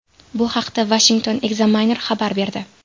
Bu haqda Washington Examiner xabar berdi .